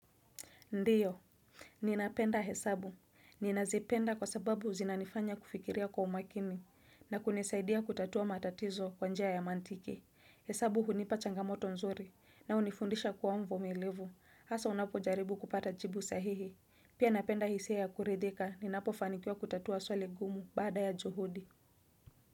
Ndiyo, ninapenda hesabu. Ninazipenda kwa sababu zinanifanya kufikiria kwa umakini na kunisaidia kutatua matatizo kwanjia ya mantike. Hesabu hunipa changamoto nzuri na unifundisha kwa mvumilivu. Asa unapo jaribu kupata jibu sahihi. Pia napenda hisia ya kuredeka ninapofanikiwa kutatua swali gumu baada ya juhudi.